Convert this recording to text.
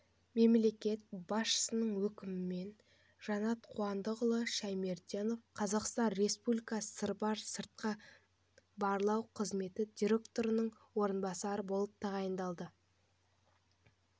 мемлекет басшысының өкімімен жанат қуандықұлы шаймерденов қазақстан республикасы сырбар сыртқы барлау қызметі директорының орынбасары болып тағайындалды